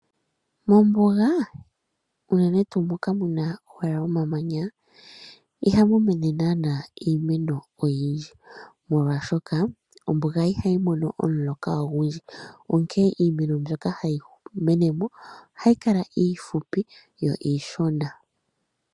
Mombuga unene tuu moka muka owala omamanya ihamu mene naanaa iimeno oyindji. Molwaashoka ombuga ihayi mono omuloka ogundji, onkene iimeno mbyoka hayi mene mo ohayi kala iifupi yo iishona.